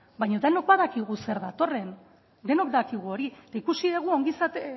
baino denok badakigu zer datorren denok dakigu hori eta ikusi dugu